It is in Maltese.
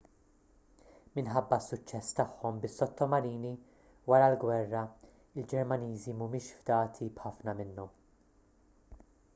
minħabba s-suċċess tagħhom bis-sottomarini wara l-gwerra il-ġermaniżi mhumiex fdati b'ħafna minnhom